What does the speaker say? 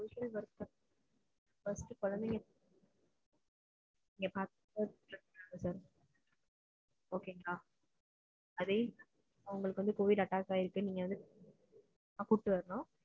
social work first குழந்தைகள பாத்துக்கோங்க okay ங்களா அதே மாதிரி அவங்களுக்கு covid attack ஆயிருக்கன்ன கூப்புட்டு வரணும்.